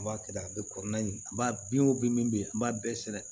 N b'a kɛ tan a bɛ kɔrɔla in b'a bin o bin min bɛ yen an b'a bɛɛ sɛbɛn